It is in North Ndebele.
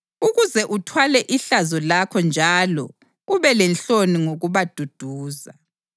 ukuze uthwale ihlazo lakho njalo ube lenhloni ngokubaduduza.